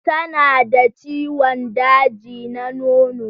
Tana da ciwon daji na nono.